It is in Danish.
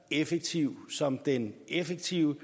effektiv som den effektive